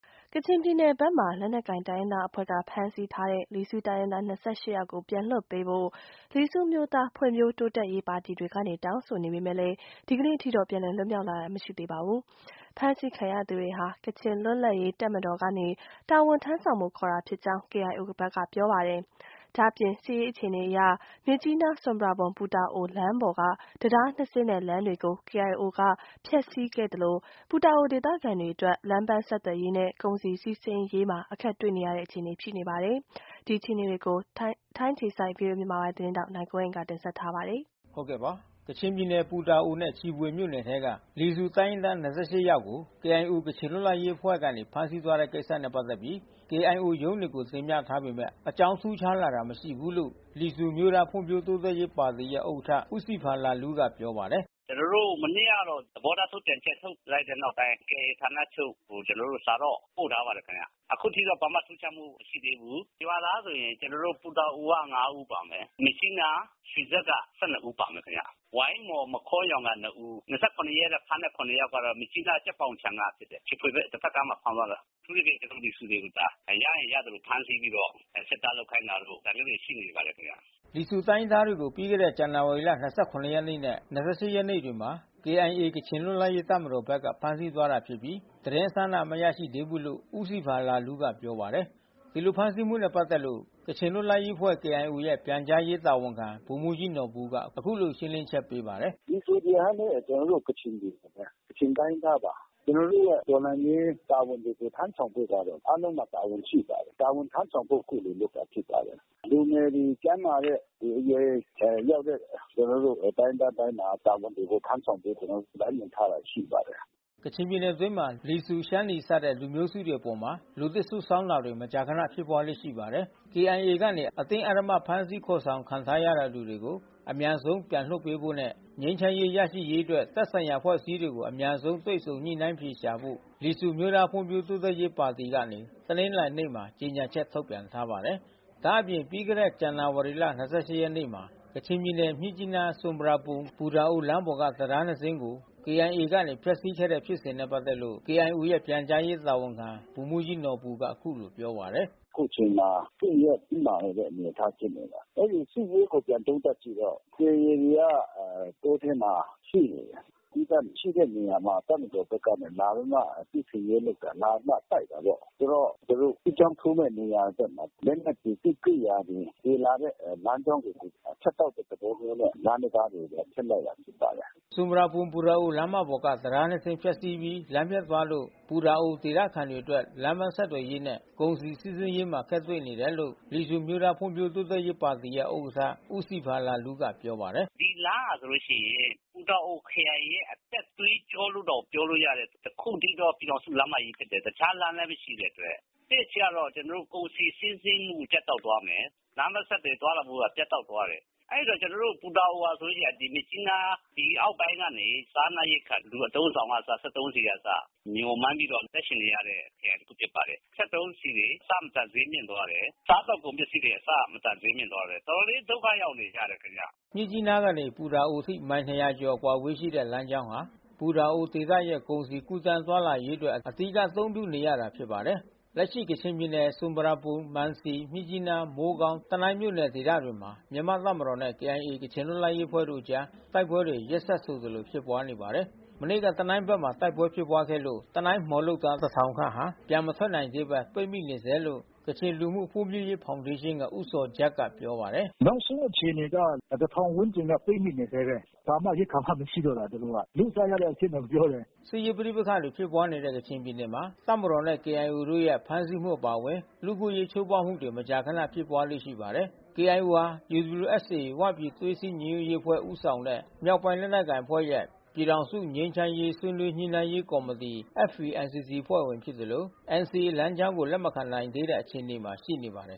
ကချင်ပြည်နယ်ဘက်မှာ လက်နက်ကိုင်တိုင်းရင်းသားအဖွဲ့ကဖမ်းဆီးထားတဲ့ လီဆူတိုင်းရင်းသား ယောက် ကိုပြန်လွှတ်ပေးဖို့ လီဆူအမျိုးသား ဖွံ့ဖြိုးတိုးတက်ရေးပါတီ တွေကနေတောင်းဆိုနေပေမဲ့ ဒီကနေ့အထိတော့ ပြန်လည် လွတ်မြောက် လာတာမရှိသေးပါဘူး။ ဖမ်းဆီးခံရတဲ့သူတွေဟာ ကချင်လွတ်လပ်ရေး တပ်မတော်ကနေ တာဝန်ထမ်း ဆောင်ဖို့ခေါ်တာဖြစ်ကြောင်း KIOဘက်ကပြောပါတယ်။ ဒါ့အပြင် စစ်ရေးအခြေအနေအရ မြစ်ကြီးနား-ဆွမ်ပရာဘွမ်-ပူတာအိုလမ်းပေါ်က တံတားနှစ်စင်းနဲ့လမ်းတွေကို KIOဘက်က ဖျက်စီးခဲ့သလို ပူတာအိုဒေသခံတွေအတွက် လမ်းပန်း ဆက်သွယ်ရေးနဲ့ ကုန်စည်စီးဆင်းရေးမှာအခက်တွေ့နေတဲ့အခြေအနေမှာရှိနေပါတယ်။ ဒီအခြေအနေတွေကို ဗွီအိုအေ မြန်မာပိုင်းသတင်းထောက် နိုင်ကွန်းအိန် ကပြောပြပေးမှာပါ။ ကချင်ပြည်နယ် ပူတာအိုနဲ့ ချီဗွေမြို့နယ်ထဲက လီဆူတိုင်းရင်းသား ၂၈ ယောက်ကို KIOကချင်လွတ်လပ်ရေးအဖွဲ့ကနေ ဖမ်းဆီးသွားတဲ့ကိစ္စနဲ့ပက်သက်ပြီး KIOရုံးတွေကိုတင်ပြထားပေမဲ့အကြောင်းထူးခြားလာတာမရှိဘူးလို့ လီဆူအမျိုးသား ဖွံ့ဖြိုးတိုးတက်ရေးပါတီရဲ့ ဥက္ကဌ ဦးဆီဖာလာလူးကပြောပါတယ်။ "ကျွန်တော်တို့မနေ့ကတော့သဘောထားထုတ်ပြန်ချက်ထုတ်လိုက်တဲ့နောက်ပိုင်း KIOဌာနချုပ်ကို ကျွန်တော်တို့ စာတော့ပို့ထားပါတယ်ခင်ဗျ။ အခုထိတော့ဘာမှထူးခြားမှုမရှိသေးဘူး။ ရွာသားဆိုရင်ကျွန်တော်တို့ ပူတာအိုက ဦးပါမယ်။ မြစ်ကြီးနားရွှေစက်က ဦးပါမယ်ခင်ဗျ။ ဝိုင်းမော် မခေါရောင်က ဦး။ ရက်ကဖမ်းသွားတဲ့ ယောက် ကတော့ မြစ်ကြီးနားကြက်ပေါင်ခြံကဖြစ်တယ်။ ချီဗွေဘက် တဖက်ကမ်းမှာဖမ်းသွားတယ်။ အထူးသဖြင့် ကျွန်တော်တို့ လီဆူတွေကိုသာ ရရင်ရသလိုဖမ်းသွားတာ စစ်သားလုပ်ခိုင်းတာတို့ ဒါမျိုးတွေရှိနေပါတယ်ခင်ဗျ။" လီဆူရွာသားတွေကို ပြီးခဲ့တဲ့ဇန္နာဝါရီ နဲ့ ရက်နေ့တွေမှာ KIAကချင်လွတ်လပ်ရေးတပ်မတော်ဘက်က ဖမ်းဆီး သွားတာဖြစ်ပြီး သတင်းအစအနမရရှိသေးဘူးလို့ ဦးဆီဖာလာလူးကပြောပါတယ်။ ဒီလိုဖမ်းဆီးမှုနဲ့ပက်သက်လို့ ကချင်လွတ်လပ်ရေးအဖွဲ့KIOရဲ့ပြန်ကြားရေးတာဝန်ခံဗိုလ်မှူးကြီးနော်ဘူက အခုလိုရှင်း လင်းချက်ပေးပါတယ်။ 'လီဆူဆိုတာကလဲကျွန်တော်တို့ကချင်တွေပါဘဲ။ ကချင်တိုင်းရင်းသားပါ။ ကျွန်တော်တို့ရဲ့တော်လှန်ရေးတာဝန် တွေကိုထမ်းဆောင်ဖို့ပါဘဲ အားလုံးမှာတာဝန်ရှိပါတယ်။ တာဝန်ထမ်းဆောင်ဖို့အခုလိုလုပ်တာဖြစ်ပါတယ်။လူငယ်တွေ ကျန်းမာတဲ့အရွယ်ရောက်တဲ့ ကျွန်တော်တို့တိုင်းရင်းသားတိုင်းမှာ တာဝန်တွေကိုထမ်းဆောင်ဖို့ ကျွန်တော်တို့လမ်းညွှန် ထားတာရှိပါတယ်။" ကချင်ပြည်နယ်အတွင်းမှာ လီဆူ ရှမ်းနီစတဲ့လူမျိုးစုတွေအပေါ် လူသစ်စုဆောင်းတာတွေ မကြာခဏဖြစ်ပွါးလေ့ရှိပါ တယ်။ KIAကနေ အတင်းဓမ္မဖမ်းဆီးခေါ်ဆောင်ခံထားရသူတွေကို အမြန်ဆုံးပြန်လွှတ်ပေးဖို့နဲ့ ငြိမ်းချမ်းရေးရရှိရေးအတွက် သက်ဆိုင်တဲ့အဖွဲ့အစည်းတွေ အမြန်ဆုံးတွေ့ဆုံညှိနှိုင်းအဖြေရှာဖို့ လီဆူအမျိုးသားဖွံ့ဖြိုးတိုးတက်ရေးပါတီကနေ တနင်္လာ နေ့မှာ ကြေညာချက်ထုတ်ပြန်ထားပါတယ်။ ဒါအပြင် ပြီးခဲ့တဲ့ဇန္နာဝါရီ ရက်နေ့မှာ ကချင်ပြည်နယ်မြစ်ကြီးနား-ဆွမ်ပရာဘွမ်-ပူတာအိုလမ်းပေါ်က တံတားနှစ်စင်း ကို ကေအိုင်အေကနေ ဖျက်ဆီးခဲ့တဲ့ဖြစ်စဉ်နဲ့ပက်သက်လို့ KIOရဲ့ပြန်ကြားရေးတာဝန်ခံဗိုလ်မှူးကြီးနော်ဘူက အခုလို ပြောပါတယ်။ "အခုချိန်မှာ စစ်ရေးတင်းမာနေတဲ့အနေအထားဖြစ်နေတယ်။ အဲဒီစစ်ရေးကိုပြန်သုံးသပ်ကြည့်တော့ KIAတွေကတောထဲမှာ ရှိနေတယ်။ သီးသန့်ရှိတဲ့နေရာမှာ တပ်မတော်ဖက်က လာပြီးမှစစ်ဆင်ရေးလုပ်တယ်။ လာပြီးမှတိုက်တာပေါ့။ ဆိုတော့ သူတို့စစ်ကြောင်းထိုးတဲ့နေရာဘက်မှာ လက်နက်တွေ စစ်ကိရိယာတွေ သယ်လာတဲ့လမ်းကြောင်းတွေကို ဖြတ်တောက် တဲ့ သဘောမျိုးနဲ့ လမ်းတံတားတွေကိုဖျက်လိုက်တာဖြစ်ပါတယ်။" ဆွမ်ပရာဘွမ်-ပူတာအိုလမ်းပေါ်က တံတားနှစ်စင်းပျက်စီးပြီးလမ်းပျက်သွားလို့ ပူတာအိုဒေသခံတွေအတွက် လမ်းပန်း ဆက်သွယ်ရေးနဲ့ ကုန်စည်စီးဆင်းရေးမှာအခက်တွေ့နေတယ်လို့ လီဆူအမျိုးသားဖွံ့ဖြိုးတိုးတက်ရေးပါတီရဲ့ ဥက္ကဌ ဦးဆီဖာလာလူးကပြောပါတယ်။ "ဒီလမ်းဟာဆိုလို့ရှိရင် ပူတာအိုခရိုင်ရဲ့အသက်သွေးကြောလို့တောင်ပြောလို့ရတဲ့ တခုတည်းသော ပြည်ထောင်စု လမ်းမကြီးဖြစ်တယ်။ တခြားလမ်းလဲမရှိတဲ့အတွက် တစ်အချက်ကတော့ကုန်စည်စီးဆင်းမှုပြတ်တောက်သွားမယ်။ လအါးပန်းဆက်သွယ်သွားလာမှုကပြတ်တောက်သွားတယ်။ အဲဒီတော့ကျွန်တော်တို့ပူတာအိုဟာဆိုလို့ရှိရင် ဒီမြစ်ကြီးနား အောက်ပိုင်းကနေ စားနပ်ရိက္ခာ လူအသုံးဆောင်ကအစ စက်သုံးဆီကအစ မျှော်မှန်းပြီးမှအသက်ရှက်ရတဲ့ခရိုင် တခု ဖြစ်ပါတယ်။ စက်သုံးဆီတွေအဆမတန်ဈေးမြင့်သွားတယ်။ စားသောက်ကုန်ပစ္စည်းတွေ အဆမတန်ဈေးမြင့်သွားတယ်။ တော်တော်လေးဒုက္ခရောက်နေကြတယ်ထင်ဗျ။" မြစ်ကြီးနားကနေစပြီး ပူတာအိုအထိ မိုင် ၂ ရာကျော်အကွာအဝေးရှိတဲ့ လမ်းကြောင်းဟာ ပူတာအိုဒေသရဲ့ ကုန်စည် ကူးသန်း သွားလာရေးအတွက် အဓိက အသုံးပြုနေရတာ ဖြစ်ပါတယ်။ လက်ရှိကချင်ပြည်နယ် ဆွမ်ပရာဘွမ် မံစီ မြစ်ကြီးနား မိုးကောင်း တနိုင်းမြို့နယ်ဒေသတွေမှာမြန်မာ့တပ်မတော်နဲ့ KIAကချင်လွတ်လပ်ရေးတပ်မတော်တို့အကြား တိုက်ပွဲတွေရက်ဆက်ဆိုသလိုဖြစ်ပွါးနေပါတယ်။ မနေ့က တနိုင်းဘက်မှာတိုက်ပွဲဖြစ်ပွါးခဲ့လို့ တနိုင်းမှော်လုပ်သား ဝန်းကျင်ဟာ ပြန်မထွက်နိုင်သေးဘဲ ပိတ်မိနေ ဆဲလို့ ကချင်လူမှုဖွံ့ဖြိုးရေးဖောင်ဒေးရှင်းက ဦးဇော်ဂျတ်က ပြောပါတယ်။ နောက်ဆုံးအခြေအနေက ဝန်းကျင်ကပိတ်မိနေဆဲဘဲ။ ဘာမှရိက္ခာမရှိတော့တာသူတို့မှာ။ လုစားရတဲ့အဖြစ် တောင်ပြောတယ်။ စစ်ရေးပဋိပက္ခတွေဖြစ်ပွားနေတဲ့ ကချင်ပြည်နယ်မှာ တပ်မတော်နဲ့ ကေအိုင်အေတို့ရဲ့ ဖမ်းဆီးမှုအပါအဝင် လူ့အခွင့် အရေးချိုးဖောက်မှုတွေ မကြာခနဖြစ်ပွါးလေ့ရှိပါတယ်။ KIO ဟာ UWSO ဝပြည်သွေးစည်းညီညွတ်ရေးအဖွဲ့ဦးဆောင်တဲ့ မြောက်ပိုင်းလက်နက်ကိုင်အဖွဲ့ရဲ့ ပြည်ထောင်စုငြိမ်း ချမ်းရေးဆွေးနွေးညှိနှိုင်းရေးကော်မတီ FPNCCအဖွဲ့ဝင်လဲဖြစ်သလို NCAလမ်းကြောင်းကိုလက်မခံနိုင်သေးတဲ့အခြေ အနေမှာရှိနေပါတယ်